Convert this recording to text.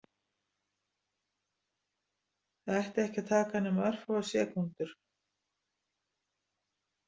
Það ætti ekki að taka nema örfáar sekúndur.